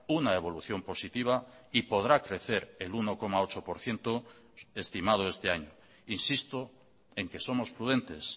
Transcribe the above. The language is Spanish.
una evolución positiva y podrá crecer el uno coma ocho por ciento estimado este año insisto en que somos prudentes